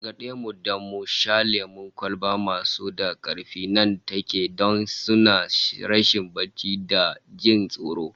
An gargade mu da shan lemon kwalba masu ba da karfi nan take, don suna sa rashin barci da jin tsoro